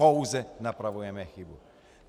Pouze napravujeme chybu.